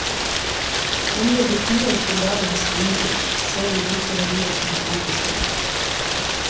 Omgjør vi kuer til dagens kronekurs, ser vi hvilke verdier som sto på spill.